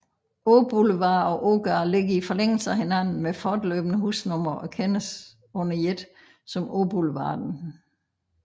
Åboulevard og Ågade ligger i forlængelse af hinanden med fortløbende husnumre og kendes under et som Åboulevarden